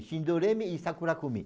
Shindoremi e Sakurakumi.